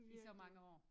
I så mange år